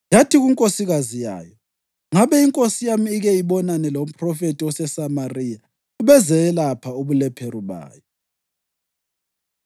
Yathi kunkosikazi yayo, “Ngabe inkosi yami ike ibonane lomphrofethi oseSamariya! Ubezayelapha ubulephero bayo.”